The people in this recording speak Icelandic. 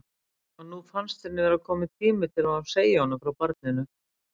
Og nú finnst henni vera kominn tími til að hún segi honum frá barninu.